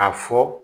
A fɔ